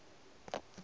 go sa na mo a